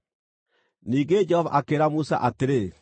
Ningĩ Jehova akĩĩra Musa atĩrĩ,